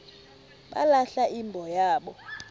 balahla imbo yabo